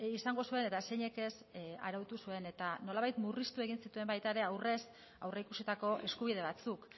izango zuen eta zeinek ez arautu zuen eta nolabait murriztu egin zituen aurrez aurrikusitako eskubide batzuk